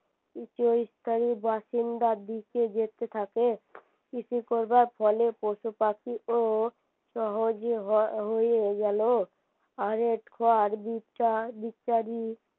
কিছু স্থায়ী বাসিন্দার দিকে যেতে থাকে কিছু করবার ফলে পশুপাখি ও সহজে হয়েই গেলো